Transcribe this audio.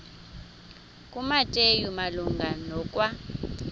kumateyu malunga nokwa